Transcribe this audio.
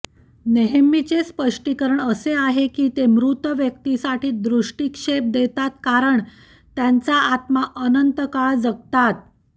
नेहमीचे स्पष्टीकरण असे आहे की ते मृत व्यक्तीसाठी दृष्टीक्षेप देतात कारण त्यांच्या आत्म्या अनंतकाळ जगतात